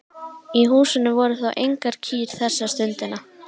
Í húsinu voru þó engar kýr þessa stundina.